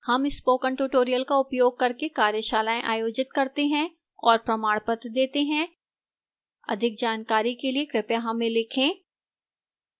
हम spoken tutorial का उपयोग करके कार्यशालाएँ आयोजित करते हैं और प्रमाणपत्र देती है अधिक जानकारी के लिए कृपया हमें लिखें